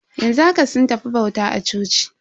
Yanzu haka sun tafi bauta a coci.